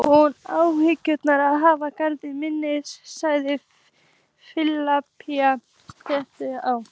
Hún Áslaug á hana, Garðar minn, svaraði Filippía stillilega.